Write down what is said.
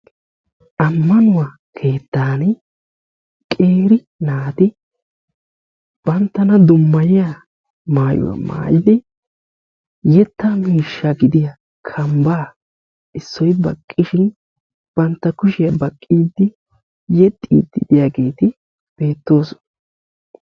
Ammanuwa keettaan qeeri naati banttana dummayiyaa maayuwa maayidi yetta miishsha gidiyaa kambbaa issoy baqqishin bantta kushiyan baqqiiddi yexxiiddi de"iyaageeti beettoosona.